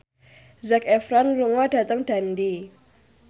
Zac Efron lunga dhateng Dundee